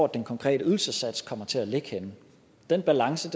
den konkrete ydelsessats kommer til at ligge den balance